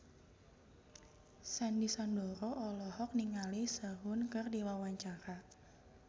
Sandy Sandoro olohok ningali Sehun keur diwawancara